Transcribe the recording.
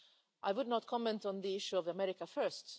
I do not want to comment on the issue of America First'.